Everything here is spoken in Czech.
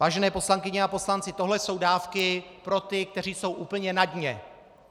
Vážené poslankyně a poslanci, tohle jsou dávky pro ty, kteří jsou úplně na dně.